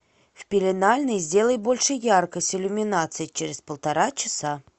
в пеленальной сделай больше яркость иллюминации через полтора часа